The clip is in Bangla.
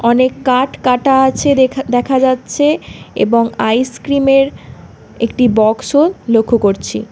অনেক কাট কাটা আছে দেখা দেখা যাচ্ছে এবং আইসক্রিমের একটি বক্সও লক্ষ করছি।